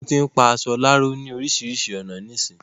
Wọ́n tín pa aṣọ láró ni oríṣiríṣi ọ̀nà nísìí